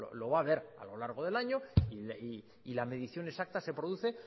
lo va a ver a lo largo del año y la medición exacta se produce